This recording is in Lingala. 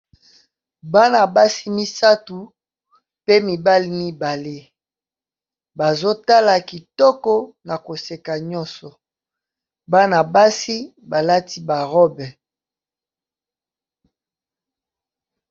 Bana basi misatu pe mibali mibale, bazo tala kitoko na koseka nyonso bana basi ba lati ba robe.